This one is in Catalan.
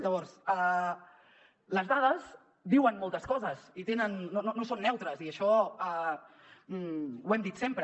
llavors les dades diuen moltes coses i no són neutres i això ho hem dit sempre